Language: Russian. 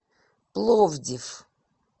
пловдив